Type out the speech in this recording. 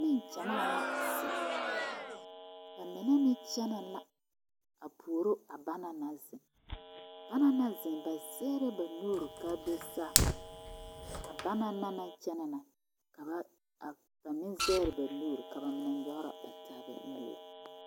Nengyamaa la zeŋ ba mine meŋ kyɛnɛ la a puoro a banaŋ naŋ zeŋ banaŋ naŋ zeŋ ba zɛgrɛ ba nuuri ka a do saa a banna naŋ kyɛnɛ na kaŋa a ba zɛgrɛ ba nuuri ka ba meŋ nyɔgrɔ ba taa nuuri.